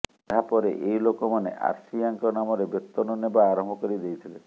ଏହାପରେ ଏହି ଲୋକମାନେ ଆର୍ସିୟାଙ୍କ ନାମରେ ବେତନ ନେବା ଆରମ୍ଭ କରି ଦେଇଥିଲେ